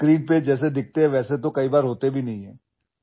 अभिनेते जसे पडद्यावर दिसतात तसे ते अनेकदा प्रत्यक्षात असत नाहीत